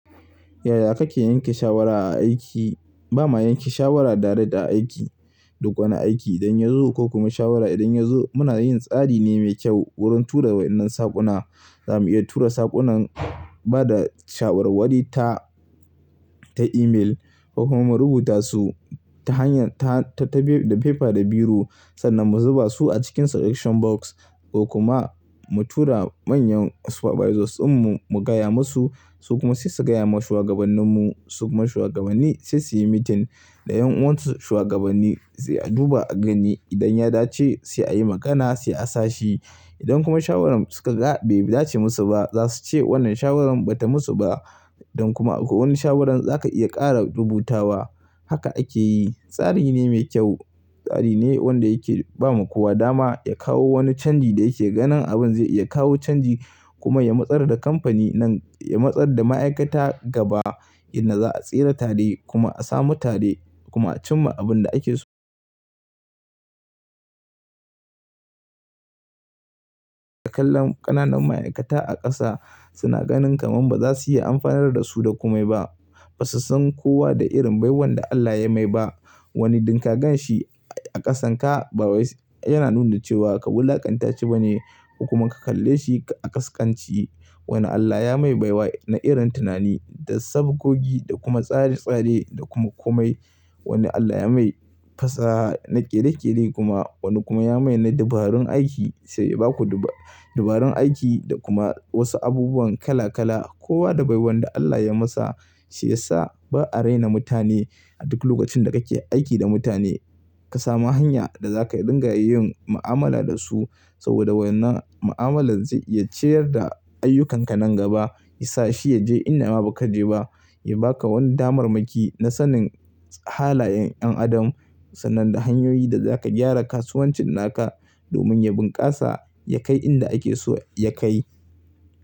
Yaya kake yanke shawara a aiki? Ba mu yanke shawara direct a aiki. Duk wani aiki idan ya zo ko kuma shawara idan ya zo muna yin tsari ne mai kyau wurin tura wa wannan saƙuna. Za mu iya tura saƙunan ba da shawarwari ta, ta email ko kuma mu rubuta su ta hanyar ta, ta, da paper da biro sannan mu zuba su a cikin selection box ko kuma mu tura manyan supervisors dinmu mu gaya masu su kuma sai su gaya ma shugabanninmu. Sukuma shugabanni sai su yi meeting. Da yan uwansu shugabanni sai a duba a gani idan ya dace sai a yi magana sai a sa shi. Idan kuma shawarar suka ga bai dace musu ba za su ce wannan shawaran bata musu ba. Don kuma akwai wani shawaran zaka iya ƙara rubutawa. Haka ake yi. Tsari ne mai kyau. Tsari ne wanda yake ba ma kowa dama ya kawo wani canji da yake ganin abin zai iya kawo canji kuma ya motsar da kamfani nan, ya motsar da ma'aikata gaba inda za a tsira tare kuma a samu tare kuma a cimma abin da ake so. A kullum ƙananan ma'aikata a ƙasa suna ganin kaman ba za su iya amfanar da su da kome ba. Ba su san kowa da irin baiwan da Allah ya mai ba. Wani duk ka gan shi a ƙasan ka, ba wai yana nuna cewa ka wulaƙanta shi bane kuma ka kalle shi a kaskanci. Wani Allah ya mai baiwa na irin tunani da sabgogi da kuma tsare-tsare da kuma kome. Wani Allah ya mai fasaha na ƙere-ƙere kuma wani kuma ya mai na dabarun aiki sai baku duba, dabarun aiki da kuma wasu abubuwan kala kala. Kowa da baiwan da Allah ya masa shiyasa ba a raina mutane. A duk lokacin da kake aiki da mutane ka sami hanya da zaka dinga yin ma'amala da su saboda wannan ma'amalar zai iya ciyar da ayyukanka nan gaba, yasa shi yaje inda ma baku je ba, ya baka wani damammaki na sanin halayen 'yan adam sannan da hanyoyi da zaka gyara kasuwancin naka domin ya bunkasa, ya kai inda ake so ya kai.